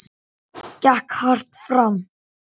Gekk hart fram.